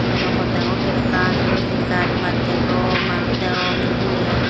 train naw pot dagong akkan sero hitte guj buj dagong manush dagong ye.